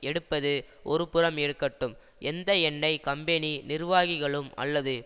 எடுப்பது ஒருபுறம் இருக்கட்டும் எந்த எண்ணெய் கம்பெனி நிர்வாகிகளும் அல்லது